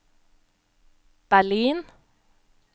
Berlin